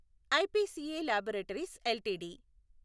IPCA laboratories LTD